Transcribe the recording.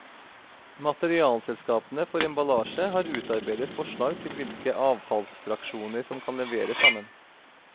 Materialselskapene for emballasje har utarbeidet forslag til hvilke avfallsfraksjoner som kan leveres sammen.